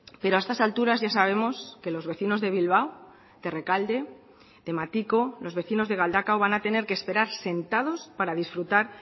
pero a estas alturas ya sabemos que los vecinos de bilbao de rekalde de matiko los vecinos de galdakao van a tener que esperar sentados para disfrutar